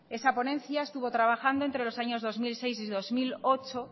esa ponencia estuvo trabajando entre los años dos mil seis y dos mil ocho